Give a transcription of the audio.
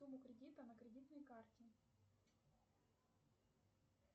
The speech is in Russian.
сумму кредита на кредитной карте